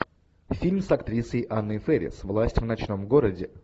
фильм с актрисой анной фэрис власть в ночном городе